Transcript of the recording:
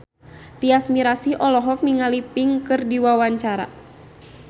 Tyas Mirasih olohok ningali Pink keur diwawancara